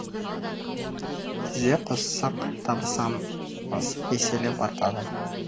тізе қоссақ табысымыз еселеп артады